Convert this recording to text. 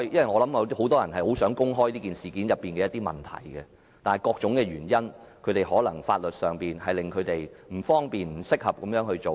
我相信很多人想公開事件中的一些問題，但由於各種原因，包括不受法律保障，他們不方便這樣做。